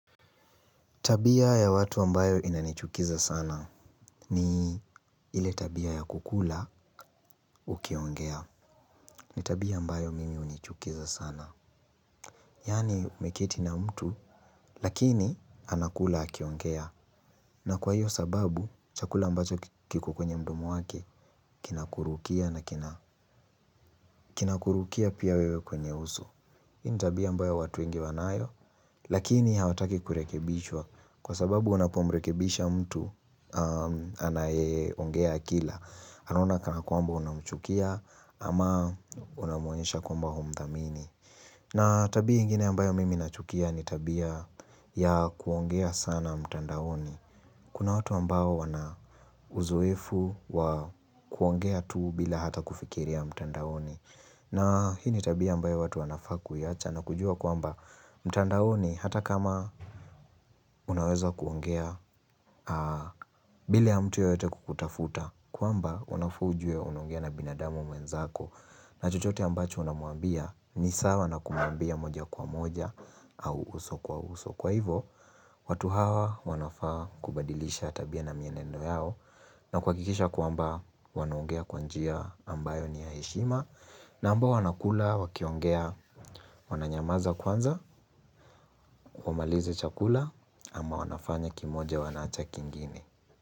Tabia ya watu ambayo inanichukiza sana ni ile tabia ya kukula ukiongea. Ni tabia ambayo mimi unichukiza sana. Yani umekiti na mtu lakini anakula akiongea. Na kwa hiyo sababu chakula ambacho kiko kwenye mdomo wake kinakurukia na kinakurukia pia wewe kwenye uso. Hii ni tabia ambayo watu wengi wanayo, lakini hawataki kurekebishwa kwa sababu unapomrekebisha mtu anayeongea akila. Anona kana kwamba unamuchukia ama unamonyesha kwamba humdhamini. Na tabia ingine ambayo mimi nachukia ni tabia ya kuongea sana mtandaoni. Kuna watu ambao wana uzoefu wa kuongea tu bila hata kufikiri mtandaoni. Na hi ni tabia ambayo watu wanafaa kuyacha na kujua kuamba mtandaoni hata kama unaweza kuongea bila mtu yoyote kukutafuta kuamba unafa ujue unongea na binadamu mwenzako na chochote ambacho unamuambia ni sawa na kumuambia moja kwa moja au uso kwa uso. Kwa hivyo, watu hawa wanafaa kubadilisha tabia na mienendo yao na kwakikisha kuamba wanoongea kwanjia ambayo ni yaeshima na ambao wanakula wakiongea wananyamaza kwanza, wamalize chakula ama wanafanya kimoja wanacha kingine.